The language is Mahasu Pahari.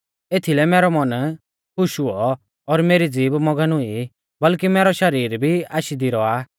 एथीलै मैरौ मन खुश हुऔ और मेरी ज़ीभ मगन हुई बल्कि मैरौ शरीर भी आशी दी रौआ